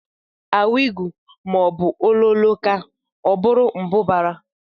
Awigu maọbụ ololoo kaa, ọ bụrụ mbụbara